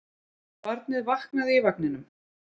Barnið vaknaði í vagninum.